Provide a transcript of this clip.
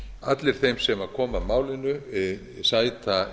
allir þeir sem koma að málinu sæta